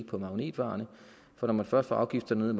på magnetvarerne for når man først får afgifterne